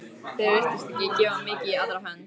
Það virtist ekki gefa mikið í aðra hönd.